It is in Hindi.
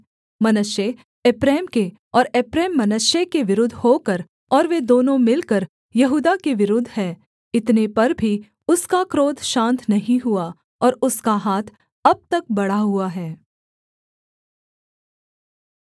मनश्शे एप्रैम के और एप्रैम मनश्शे के विरुद्ध होकर और वे दोनों मिलकर यहूदा के विरुद्ध हैं इतने पर भी उसका क्रोध शान्त नहीं हुआ और उसका हाथ अब तक बढ़ा हुआ है